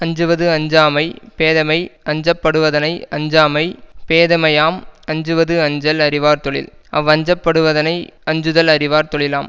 அஞ்சுவது அஞ்சாமை பேதமை அஞ்சப்படுவதனை அஞ்சாமை பேதமையாம் அஞ்சுவது அஞ்சல் அறிவார் தொழில் அவ்வஞ்சப்படுவதனை அஞ்சுதல் அறிவார் தொழிலாம்